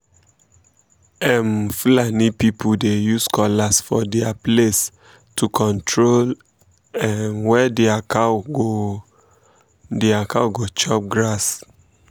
um fulani people dey use cutlass for their place to control um where their cow go their cow go chop grass